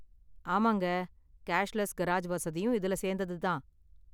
ஆமாங்க, ​cashless garage வசதியும் இதுல சேந்தது தான்.